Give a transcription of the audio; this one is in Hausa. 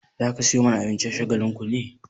Za ka sayo mana abinci a Shagalinku ne?